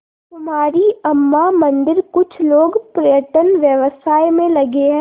कुमारी अम्मा मंदिरकुछ लोग पर्यटन व्यवसाय में लगे हैं